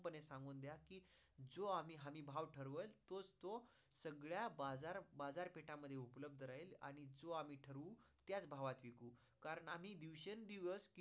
हे सांगून द्या कि जो आम्ही भाव ठरवेल, तोच तो सगळ्या बाजार, बाजारपिठा मध्ये उपलभद राहील आणि जो आम्ही ठरवू त्याच भावात विकू कारण आम्ही दिवसां दिवस